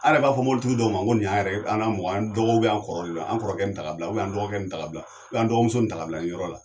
An yɛrɛ b'a fɔ mobilitigi dɔw ma ko nin y'an yɛrɛ an ka mɔgɔ an dɔgɔ [cs' kɔrɔ an kɔrɔkɛ nin ta ka bila an dɔgɔ nin ta ka bila an dɔgɔmuso nin ta ka bila nin yɔrɔ la